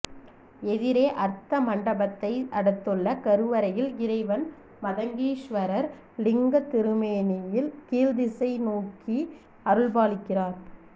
எதிரே அர்த்த மண்டபத்தை அடுத்துள்ள கருவறையில் இறைவன் மதங்கீஸ்வரர் லிங்கத் திருமேனியில் கீழ்திசை நோக்கி அருள்பாலிக்கிறார்